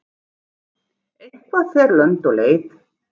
Eitthvað fer lönd og leið